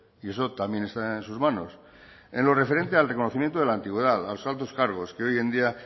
y eso también está en sus manos en lo referente al reconocimiento de la antigüedad a los altos cargos que hoy en día